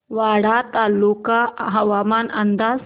वाडा तालुका हवामान अंदाज